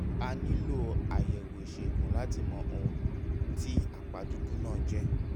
a nílò àyẹ̀wò ìṣègùn láti mọ ohun tí àpá dúdú náà jẹ́